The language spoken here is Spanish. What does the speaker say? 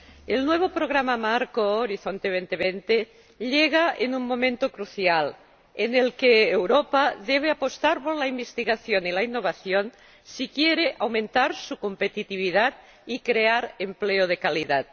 el nuevo Programa Marco Horizonte 2020 llega en un momento crucial en el que Europa debe apostar por la investigación y la innovación si quiere aumentar su competitividad y crear empleo de calidad.